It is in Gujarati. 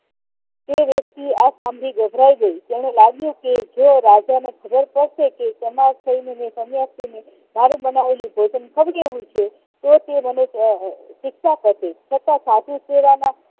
તે વ્યક્તિ આ સાંભળી ગભરાઈ ગયો તેને લાગ્યું કે જો રાજા ને ખબર પડશે કે તેના સન્યાસીને મારુ બનાવેલું ભોજન છે તો તે મને શિક્ષા કરશે છતાં સાધુ કેવાના